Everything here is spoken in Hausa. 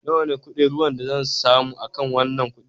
Nawa ne kuɗin ruwan da zan samu akan wanan kudi?